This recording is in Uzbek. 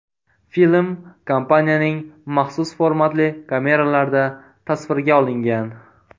Film kompaniyaning maxsus formatli kameralarida tasvirga olingan.